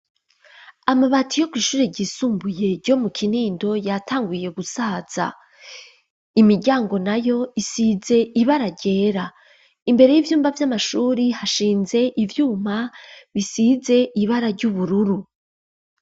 Amabati yo gishure igisumbuye ryo mu kinindo yatanguye gusaza imiryango na yo isize ibara ryera imbere y'ivyumba vy'amashuri hashinze ivyuma bisize ibara ry'ubururu.